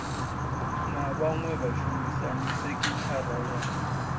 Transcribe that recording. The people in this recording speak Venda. na vhaṅwe vhashumisani sekithara ya